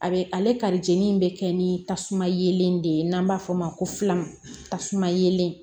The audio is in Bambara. A bɛ ale kari jeni in bɛ kɛ ni tasuma yelen de ye n'an b'a fɔ o ma ko fila tasuma yele